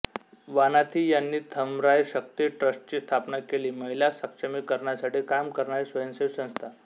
वानाथी यांनी थमराय शक्ती ट्रस्टची स्थापना केली महिला सक्षमीकरणासाठी काम करणारी स्वयंसेवी संस्था